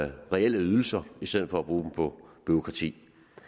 reelle ydelser i stedet for at bruge dem på bureaukrati